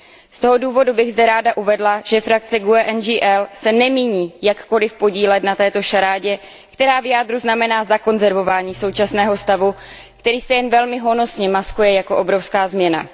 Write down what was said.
Z toho důvodu bych zde ráda uvedla, že skupina GUE NGL se nemíní jakkoliv podílet na této šarádě, která v jádru znamená zakonzervování současného stavu, který se jen velmi honosně maskuje jako obrovská změna.